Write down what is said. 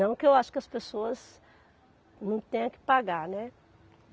Não que eu acho que as pessoas não tenham que pagar, né?